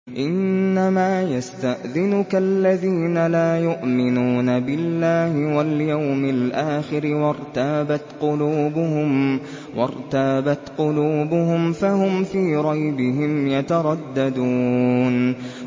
إِنَّمَا يَسْتَأْذِنُكَ الَّذِينَ لَا يُؤْمِنُونَ بِاللَّهِ وَالْيَوْمِ الْآخِرِ وَارْتَابَتْ قُلُوبُهُمْ فَهُمْ فِي رَيْبِهِمْ يَتَرَدَّدُونَ